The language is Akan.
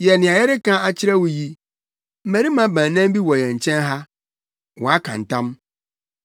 Yɛ nea yɛrebɛka akyerɛ wo yi. Mmarima baanan bi wɔ yɛn nkyɛn ha a, wɔaka ntam.